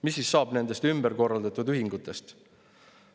Mis siis saab nendest ümberkorraldatud ühingutest?